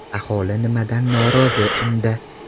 Aholi nimadan norozi unda?.